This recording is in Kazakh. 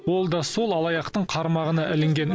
ол да сол алаяқтың қармағына ілінген